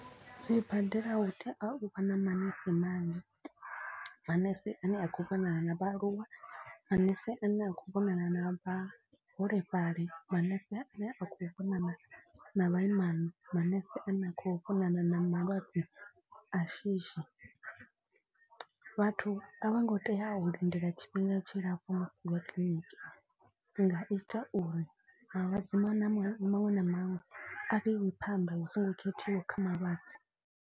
Zwibadela hu tea u vha na manese manzhi manese a ne a khou vhonana na vhaaluwa, manese a ne a khou vhonana na vhaholefhali. Manese a ne a khou vhonana na vhaimana, manese a ne a khou vhonana na malwadze a shishi. Vhathu a vho ngo tea u lindela tshifhinga tshilapfu musi vha kiḽiniki. I nga ita uri malwadze maṅwe na maṅw maṅwe na maṅwe a vheiwe phanḓa hu songo khethiwa kha malwadze.